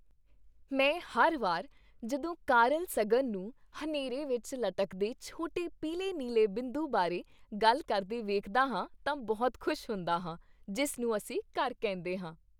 ਮੈਂ ਹਰ ਵਾਰ ਜਦੋਂ ਕਾਰਲ ਸਗਨ ਨੂੰ 'ਹਨੇਰੇ ਵਿੱਚ ਲਟਕਦੇ ਛੋਟੇ ਪੀਲੇ ਨੀਲੇ ਬਿੰਦੂ' ਬਾਰੇ ਗੱਲ ਕਰਦੇ ਵੇਖਦਾ ਹਾਂ ਤਾਂ ਬਹੁਤ ਖ਼ੁਸ਼ ਹੁੰਦਾ ਹਾਂ ਜਿਸ ਨੂੰ ਅਸੀਂ ਘਰ ਕਹਿੰਦੇ ਹਾਂ।